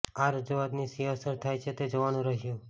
આ રજૂઆતની શી અસર થાય છે તે જોવાનું રહ્યું